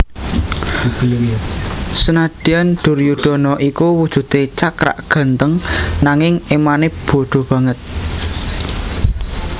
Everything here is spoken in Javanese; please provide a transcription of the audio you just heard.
Senadyan Duryudana iku wujude cakrak gantheng nanging emane bodho banget